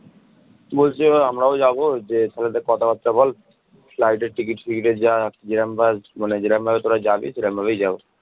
বলছে আমরাও যাবো যে তাহলে একটু কথাবার্তা বল flight এর টিকিট ফিকিটের মানে যেরাম ভাবে তোরা যাবি সেরম ভাবেই যাবো